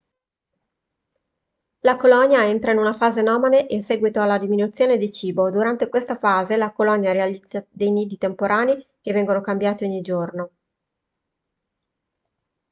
la colonia entra in una fase nomade in seguito alla diminuzione di cibo durante questa fase la colonia realizza dei nidi temporanei che vengono cambiati ogni giorno